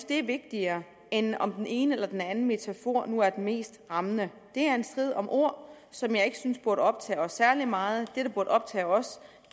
det er vigtigere end om den ene eller den anden metafor nu er den mest rammende det er en strid om ord som jeg ikke synes burde optage os særlig meget det der burde optage os